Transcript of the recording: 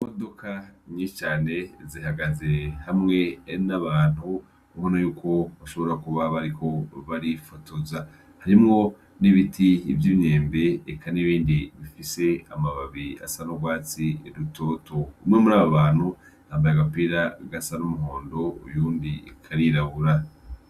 Imodoka nyishane zihagaze hamwe n'abantu ukona y'uko bashobora kuba bariho barifotoza, harimwo n'ibiti iby'imyembe eka n'ibindi bifise amababi asa n'ubwatsi rutoto umwe muri abo bantu hambaye agapira gasa n'umuhondo uyundi ikarirabura.